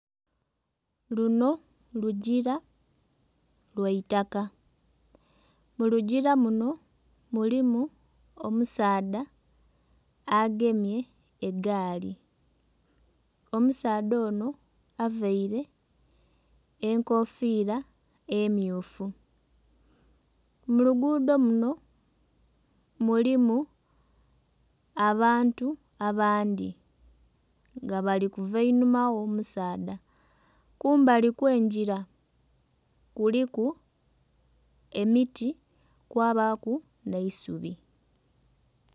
Luno lugira lyaitaka, mulugira muno mulimu omusaadha agemye egaali, omusaadha ono avaire enkofira emmyufu. Mu luguudo luno mulimu abantu abandhi nga bali kuva einhuma gho omusaadha, kumbali okw'engira kuliku emiti kwabaku n'eisubi.